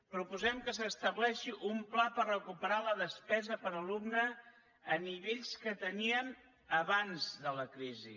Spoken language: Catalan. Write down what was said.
proposem que s’estableixi un pla per recuperar la despesa per alumne a nivells que teníem abans de la crisi